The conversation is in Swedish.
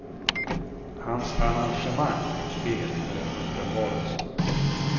Hans arrangemang och spel är en uppenbarelse.